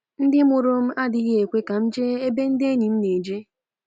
‘Ndị mụrụ m adịghị ekwe ka m jee ebe ndị enyi m na-eje.